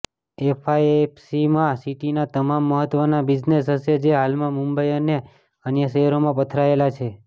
એફઆઇએફસીમાં સિટીના તમામ મહત્ત્વના બિઝનેસ હશે જે હાલમાં મુંબઈ અને અન્ય શહેરોમાં પથરાયેલા છે